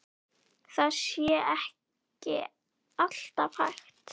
Það sé ekki alltaf hægt.